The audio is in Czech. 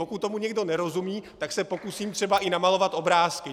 Pokud tomu někdo nerozumí, tak se pokusím třeba i namalovat obrázky.